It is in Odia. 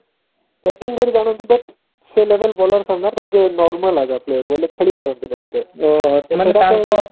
bating କରକି ଆଣନ୍ତି but ସେ level bowler ସାମ୍ନାରେ ତାଙ୍କେ normal ଆଗ player ବୋଲେ ଖେଳି ପାରନ୍ତିନି ଏତେ ମାନେ ତାଙ୍କ